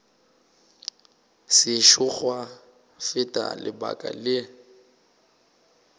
sešo gwa feta lebaka le